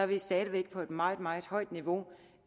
vi stadig væk på et meget meget højt niveau